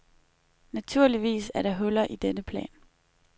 Naturligvis er der huller i denne plan.